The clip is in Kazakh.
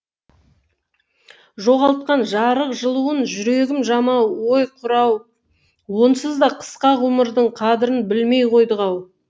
жоғалтқан жарық жылуынжүрегім жамау ой құрау онсыз да қысқа ғұмырдыңқадірін білмей қойдық ау